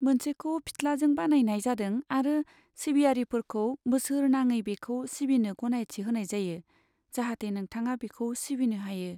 मोनसेखौ फिथ्लाजों बानायनाय जादों आरो सिबियारिफोरखौ बोसोरनाङै बेखौ सिबिनो गनायथि होनाय जायो, जाहाथे नोंथाङा बिखौ सिबिनो हायो।